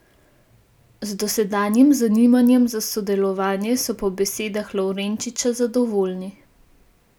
Z dosedanjim zanimanjem za sodelovanje so po besedah Lovrenčiča zadovoljni.